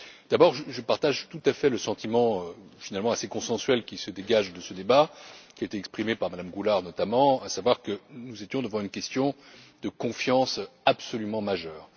D'abord, je partage tout à fait le sentiment finalement assez consensuel qui se dégage de ce débat, qui est exprimé par Mme Goulard notamment, à savoir que nous étions devant une question de confiance absolument majeure.